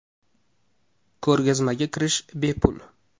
Ko‘rgazmaga kirish bepul.